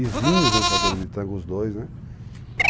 Exímios dançadores de tango, os dois, né?